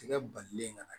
Tigɛ balilen ka